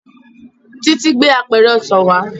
Títí gbé àpẹrẹ ọsàn wá